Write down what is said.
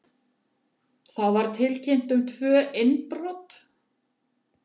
Þá var tilkynnt um tvö innbrot